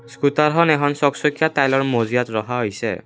স্কুটাৰখন এখন চক চকীয়া টাইলৰ মজিয়াত ৰখা হৈছে।